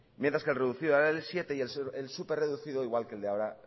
mientras que el reducido era el siete por ciento y el súper reducido era